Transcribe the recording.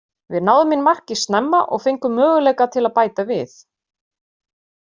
Við náðum inn marki snemma og fengum möguleika til að bæta við.